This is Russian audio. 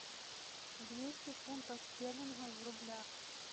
двести фунтов стерлингов в рублях